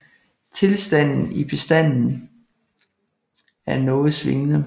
Tilstanden i bestanden er noget svingende